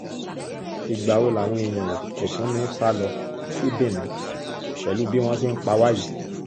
ìgbà wo làwọn èèyàn kò tún ní í sá lọ sí benin pẹ̀lú bí wọ́n ṣe ń pa wá yìí